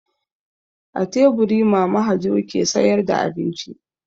A teburi Mama Hajo ke sayar da abinci.